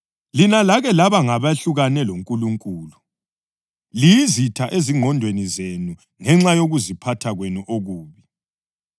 Lina lake laba ngabehlukane loNkulunkulu, liyizitha ezingqondweni zenu ngenxa yokuziphatha kwenu okubi.